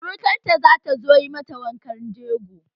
Surakar ta zata zo yi mata wankan jego